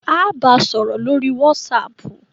Á á ba sọ̀rọ̀ lórí wàsáàpù.